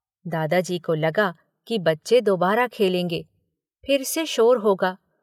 दादाजी को लगा कि बच्चे दोबारा खेलेंगे। फिर से शोर होगा।